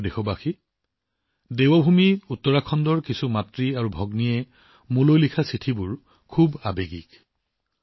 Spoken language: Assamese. মোৰ প্ৰিয় দেশবাসী দেৱভূমি উত্তৰাখণ্ডৰ একাংশ মাতৃভগ্নীয়ে মোলৈ লিখা চিঠিবোৰ হৃদয়স্পৰ্শী